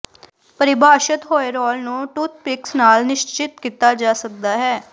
ਪਰਿਭਾਸ਼ਤ ਹੋਏ ਰੋਲ ਨੂੰ ਟੂਥਪਿਕਸ ਨਾਲ ਨਿਸ਼ਚਿਤ ਕੀਤਾ ਜਾ ਸਕਦਾ ਹੈ